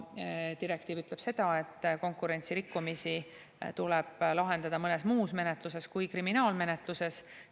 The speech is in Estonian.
Direktiiv ütleb seda, et konkurentsirikkumisi tuleb lahendada mõnes muus menetluses kui kriminaalmenetluses.